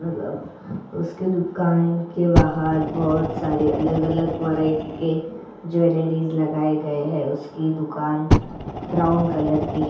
अ अ उसके दुकान के बाहर बहुत सारे अलग अलग व्हरायटी के ज्वेलरीस लगाये गए है उसकी दुकान ब्राउन कलर की है।